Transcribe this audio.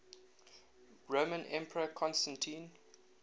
roman emperor constantine